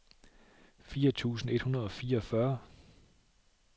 fire tusind et hundrede og fireogfyrre